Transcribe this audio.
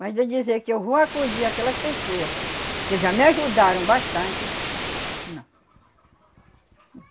Mas de dizer que eu vou acudir aquelas pessoa que já me ajudaram bastante, não.